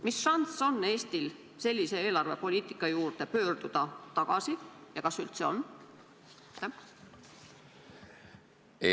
Mis šanss on Eestil sellise eelarvepoliitika juurde tagasi pöörduda ja kas seda üldse on?